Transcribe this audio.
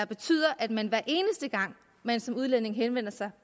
betyder at man hver eneste gang man som udlænding henvender sig